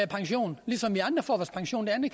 pension ligesom vi andre får vores pension det